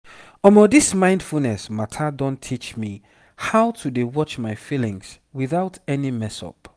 omo this mindfulness matter don teach me how to dey watch my feelings without any messup